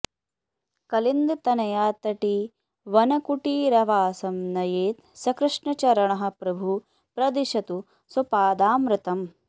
कलिन्दतनयातटी वनकुटीरवासं नयेत् स कृष्णचरणः प्रभुः प्रदिशतु स्वपादामृतम्